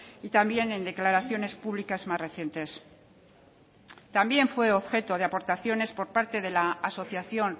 y también en declaraciones públicas más recientes también fue objeto de aportaciones por parte de la asociación